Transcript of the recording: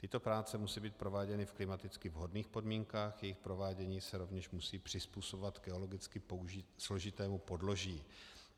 Tyto práce musí být prováděny v klimaticky vhodných podmínkách, jejich provádění se rovněž musí přizpůsobovat geologicky složitému podloží.